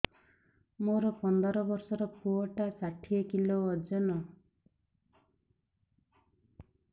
ମୋର ପନ୍ଦର ଵର୍ଷର ପୁଅ ଟା ଷାଠିଏ କିଲୋ ଅଜନ